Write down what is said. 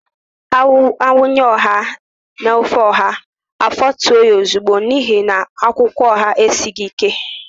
A wunye ọha n'ofe ọha, afọtue ha ozigbo n'ihi na akwụkwọ ọha esighị ike.